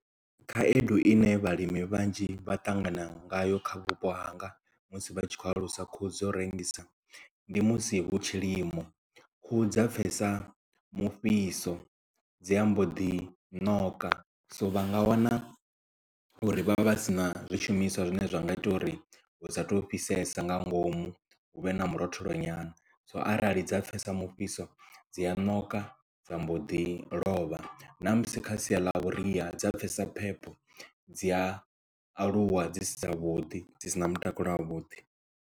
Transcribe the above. Khaedu ine vhalimi vhanzhi vha ṱangana ngayo kha vhupo hanga musi vha tshi kho alusa khuhu dzo rengisa ndi musi hu tshilimo khuhu dza pfesa mufhiso dzi ambo ḓi ṋoka so vha nga wana uri vhavha vhasina zwishumiswa zwine zwa nga ita uri hu satu fhisesa nga ngomu hu vhe na murotholo nyana so arali dza pfesa mufhiso dzi a ṋoka dza mbo ḓi lovha na musi kha sia ḽa vhuria dza pfesa phepho dzi a aluwa dzi si dza vhuḓi dzi sina mutakalo wa vhuḓi.